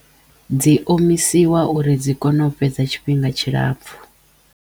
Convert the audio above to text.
Dzi omisiwa uri dzi kono u fhedza tshifhinga tshilapfhu.